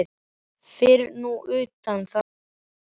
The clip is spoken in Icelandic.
Fyrir nú utan það að komast héðan.